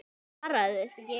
Hann svaraði þessu ekki.